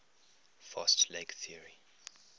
fast leg theory